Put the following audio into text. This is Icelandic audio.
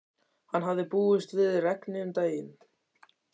Hann hafði búist við regni um daginn.